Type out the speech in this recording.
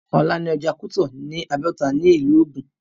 Ọ̀la ni ọjà Kútọ̀ ní Abẹ́òkúta ní ìlú Ògùn